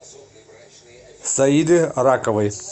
саиды раковой